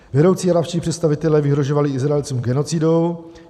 Vedoucí arabští představitelé vyhrožovali Izraelcům genocidou.